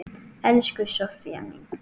Elsku Soffía mín.